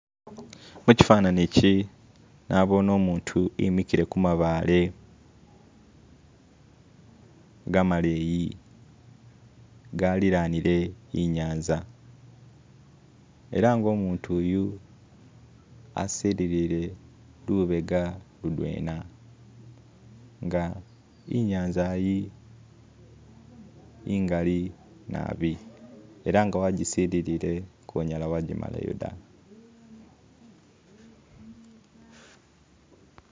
Muchifananichi nabone umutu emikile kumabaale gamaleyi galilanile inyanza elanga umutuyu asililile lubega ludwena nga inyanza yi ingali naabi elanga wajisililile konyala wajimalayo da